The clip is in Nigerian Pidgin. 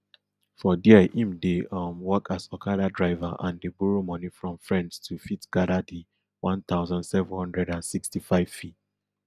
for dia im dey um work as okada driver and dey borrow money from friends to fit gada di one thousand seven hundred and sixty-five fee